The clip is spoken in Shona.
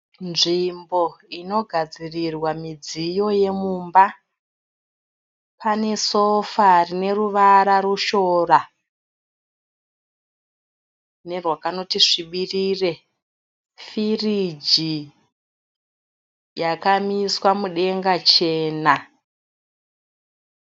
Nzvimbo inogadzirirwa midziyo yemumba. Panesofa rineruvara rushora nerwakanoti svibirire. Firiji yakamiswa mudenga chena.